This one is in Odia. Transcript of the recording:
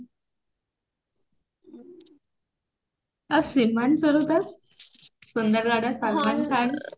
ଆଉ ଶ୍ରୀମାନ ସୁର ଦାସ ସୁନ୍ଦରଗଡର ସଲମାନ ଖାନ୍